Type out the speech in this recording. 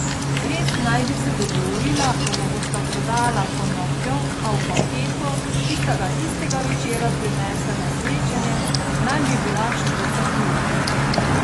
Res naj bi se dogovorila, da mu bosta prodala konopljo, a v paketu, ki sta ga tistega večera prinesla na srečanje, naj bi bila štruca kruha.